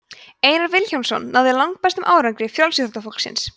einar vilhjálmsson náði langbestum árangri frjálsíþróttafólksins